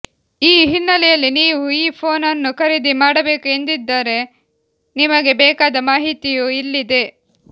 ಈ ಹಿನ್ನಲೆಯಲ್ಲಿ ನೀವು ಈ ಫೋನ್ ಅನ್ನು ಖರೀದಿ ಮಾಡಬೇಕು ಎಂದಿದ್ದರೆ ನಿಮಗೆ ಬೇಕಾದ ಮಾಹಿತಿಯೂ ಇಲ್ಲಿದೆ